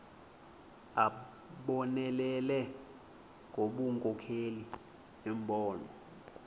abonelele ngobunkokheli nembono